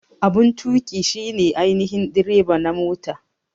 Abun tuƙi shi ne ainihin direba na mota.